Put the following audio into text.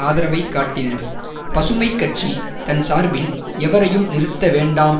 ஆதரவைக் காட்டினர் பசுமை கட்சி தன் சார்பில் எவரையும் நிறுத்தவேண்டாம்